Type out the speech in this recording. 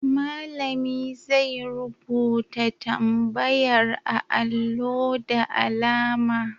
Malami zai rubuta tambayar a allo da alama.